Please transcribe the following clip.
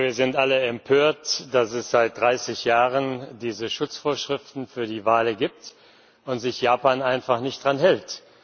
Ich glaube, wir sind alle empört, dass es seit 30 Jahren diese Schutzvorschriften für die Wale gibt und sich Japan einfach nicht daran hält.